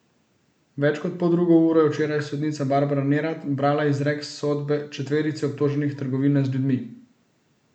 Več kot poldrugo uro je včeraj sodnica Barbara Nerat brala izrek sodbe četverici obtoženih trgovine z ljudmi.